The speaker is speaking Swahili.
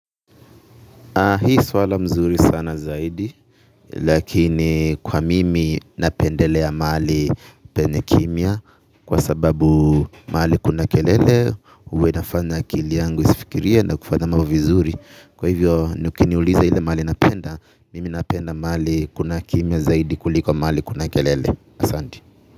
Hii swala mzuri sana zaidi lakini kwa mimi napendelea mahali penye kimya kwa sababu mahali kuna kelele huwa inafanya akili yangu isifikiriale na kufanya mambo vizuri kwa hivyo ukiniuliza ile mahali napenda mimi napenda mahali kuna kimya zaidi kuliko mahali kuna kelele asanti.